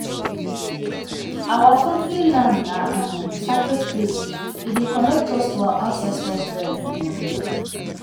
our family land na um sacred place e dey connect us to our ancestor dem. um